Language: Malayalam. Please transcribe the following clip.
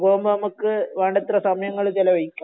ഒറ്റക്ക് പോമ്പൊ നമുക്ക് വേണ്ടത്ര സമയങ്ങൾ ചെലവഴിക്കാം